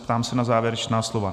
Ptám se na závěrečná slova.